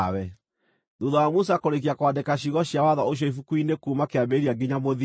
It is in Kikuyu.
Thuutha wa Musa kũrĩĩkia kwandĩka ciugo cia watho ũcio ibuku-inĩ kuuma kĩambĩrĩria nginya mũthia,